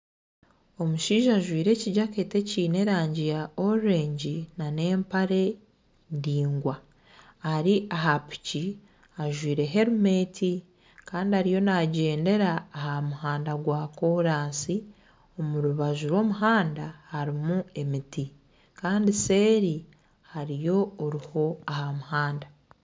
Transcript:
Omushaija ajwaire ekijaketi eky'erangi ya orurengi nana empare ndingwa Ari aha piki ajwaire herimenti Kandi ariyo nagyendera aha muhanda gwa kolasi omu rubaju rw'omuhanda harimu emiti Kandi seeri hariyo oruho aha muhanda